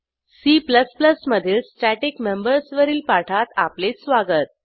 C मधील static members वरील पाठात आपले स्वागत